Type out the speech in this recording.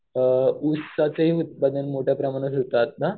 अ उसाचं ही उत्पादां मोठ्या प्रमाणावर होतं आता.